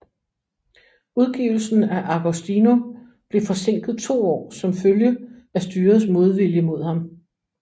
Udgivelsen af Agostino blev forsinket to år som følge af styrets modvilje mod ham